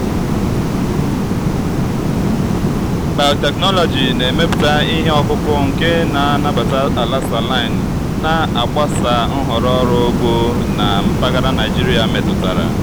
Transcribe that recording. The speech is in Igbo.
biotechnology na-emepụta ihe ọkụkụ nke na-anabata ala saline na-agbasa nhọrọ ọrụ ugbo na mpaghara nigeria metụtara.